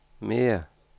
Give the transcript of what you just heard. mere